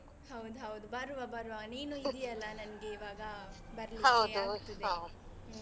ಹೌದೌದು, ಬರುವ ಬರುವ ನೀನು ಇದಿಯಲ್ಲ ನಂಗೆ ಇವಾಗ ಬರ್ಲಿಕ್ಕೆ ಅನ್ನಿಸುತ್ತೆ. ಹ್ಮ್.